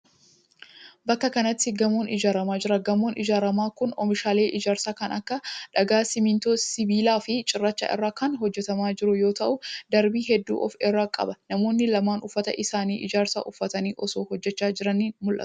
Bakka kanatti, gamoon ijaaramaa jira. Gamoon ijaaramaa kun oomishaalee ijaarsaa kan akka :dhagaa, simiintoo, sibiila fi cirracha irraa kan hojjatamaa jiru yoo ta'u, darbii hedduu of irraa qaba. Namoonni lama uffata hojii ijaarsaa uffatanii, osoo hojjachaa jiranii mul'atu.